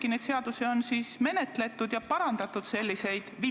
Ei ole mingi vastus, et pensionifondid on meil likviidsed ja nad ise ütlevad, et neil ei ole häda midagi.